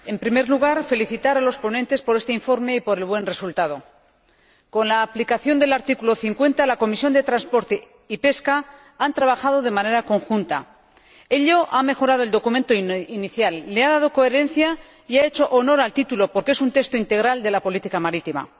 Señora Presidenta, en primer lugar quiero felicitar a los ponentes por este informe y por el buen resultado. Con la aplicación del artículo 50, la Comisión de Transportes y Turismo y la Comisión de Pesca han trabajado de manera conjunta. Ello ha mejorado el documento inicial, le ha dado coherencia y ha hecho honor al título, porque es un texto integral sobre la política marítima.